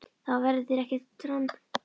Það verður þér ekki til framdráttar.